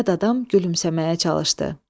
Yad adam gülümsəməyə çalışdı.